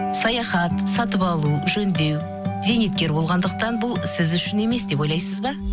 саяхат сатып алу жөндеу зейнеткер болғандықтан бұл сіз үшін емес деп ойлайсыз ба